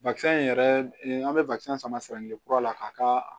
yɛrɛ an be sama kelen kura la k'a ka